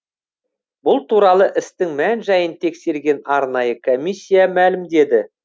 бұл туралы істің мән жайын тексерген арнайы комиссия мәлімдеді